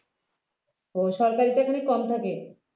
ও সরকারি চাকরি কম থাকে